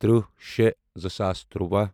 تٕرٛہ شےٚ زٕ ساس تُرٛواہ